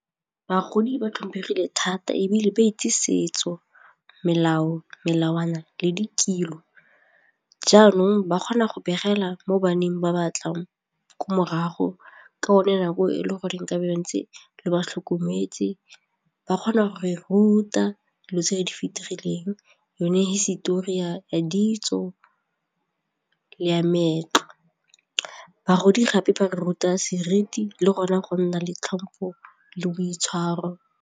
Bagodi ba tlhomphegile thata ebile ba itse setso, melao, melawana le dikilo jaanong ba kgona go begela mo baneng ba ba tlang ko morago ka yone nako e le goreng e ka bo ntse le ba tlhokometse ba kgona go ruta lotso ya di fitlhegileng yone hisetori ya ditso le ya maetla bagodi gape ba ruta seriti le gona go nna le tlhompho le boitshwaro.